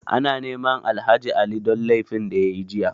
Ana neman Alhaji Ali don laifin da ya yi jiya.